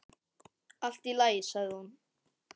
Allt í lagi, sagði hún.